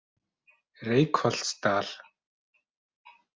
Reykholtsdal